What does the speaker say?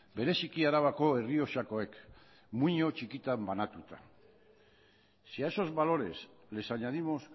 bereziki arabako errioxakoek muino txikitan banatuta si a esos valores les añadimos